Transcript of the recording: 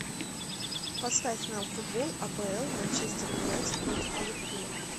поставь нам футбол апл манчестер юнайтед против ливерпуля